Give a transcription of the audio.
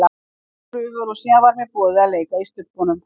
Ég fór í prufur og síðan var mér boðið að leika í Stubbnum.